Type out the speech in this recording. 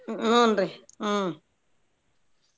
ಹುನ್ರಿ ಹ್ಮ್.